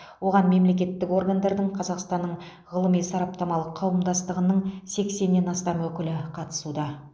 оған мемлекеттік органдардың қазақстанның ғылыми сараптамалық қауымдастығының сексеннен астам өкілі қатысуда